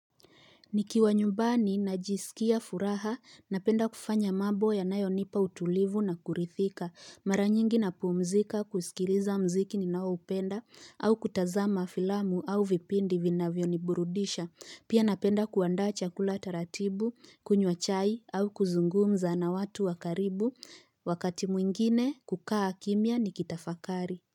Nikiwa nyumbani najisikia furaha na penda kufanya mambo yanayonipa utulivu na kurithika. Mara nyingi na puumzika kusikiliza mziki ni nao upenda au kutazama filamu au vipindi vinavyo niburudisha. Pia napenda kuandaa chakula taratibu, kunywa chai au kuzungumza na watu wakaribu. Wakati mwingine kukaa kimya ni kitafakari.